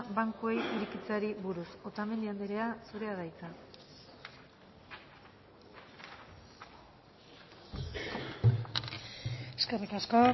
bankuei irekitzeari buruz otamendi andrea zurea da hitza eskerrik asko